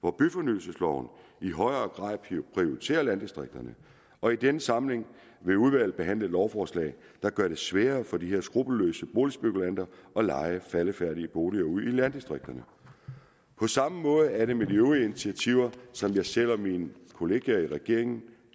hvor byfornyelsesloven i højere grad prioriterer landdistrikterne og i denne samling vil udvalget behandle et lovforslag der gør det sværere for de her skruppelløse boligspekulanter at leje faldefærdige boliger ud i landdistrikterne på samme måde er det med de øvrige initiativer som jeg selv og mine kollegaer i regeringen